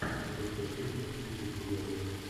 запускай фильм с актрисой джулией робертс